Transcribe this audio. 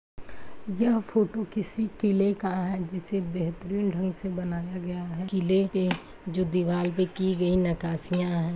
यह फोटो किसी किले का है जिसे बेहतरीन ढंग से बनाया गया है किले पे जो दीवाल पे की गई नक्क्काशिंया है।